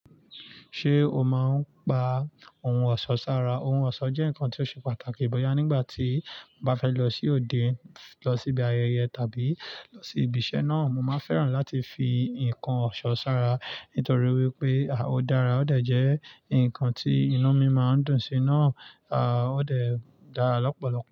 Ṣé o máa ń pa ohun ọ̀ṣọ́ sára? Ohun ọ̀ṣọ́ jẹ́ nǹkan tó ṣe pàtàkì bóyá nígbà tí mo bá fẹ́ lọ sí òde, lọ sí ibi ayẹyẹ tàbí lọ sí ibi iṣẹ́ náà. Mo máa fẹ́ràn láti fi nǹkan ọ̀ṣọ́ sára nítorí wípé ó dára, ó de jẹ́ ǹkan tí inú mi máa ń dùn sí náà, a ó de dà lọ́pọ̀lọpọ̀